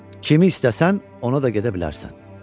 Kimi istəsən, ona da gedə bilərsən.